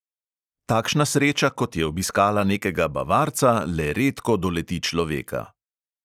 Takšna sreča, kot je obiskala nekega bavarca, le redko doleti človeka.